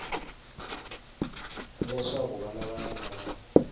leswaku vana va yena va